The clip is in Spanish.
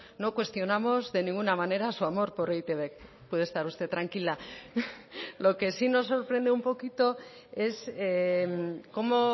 no cuestionamos de ninguna manera su amor por e i te be puede estar usted tranquila lo que sí nos sorprende un poquito es cómo